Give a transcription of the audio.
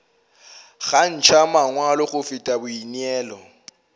kgantšha mangwalo go feta boineelo